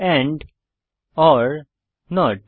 and or not